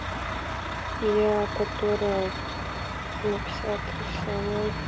я которая написала тоже самое